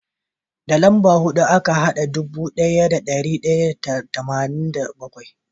Da lambobi huɗu aka hada ɗubu ɗaya da ɗari tara da tamanin da bakwai